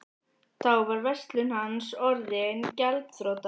Þá var verslun hans orðin gjaldþrota.